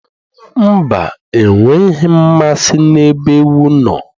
Mba, enweghị m mmasị n'ebe ewu no